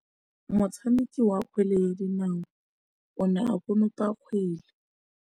Motshameki wa kgwele ya dinaô o ne a konopa kgwele.